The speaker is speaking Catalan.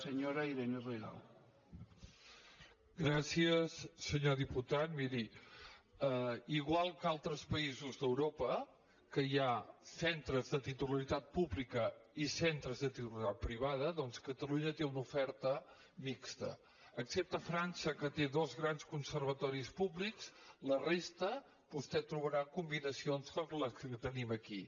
senyor diputat miri igual que altres països d’europa que hi ha centres de titularitat pública i centres de titularitat privada doncs catalunya té una oferta mixta excepte frança que té dos grans conservatoris públics a la resta vostè trobarà combinacions com la que tenim aquí